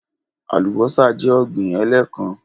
Alubọ́sá jẹ́ ọ̀gbín ẹ̀lẹ́kán